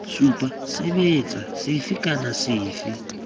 supa sebetsa sefe kana sefe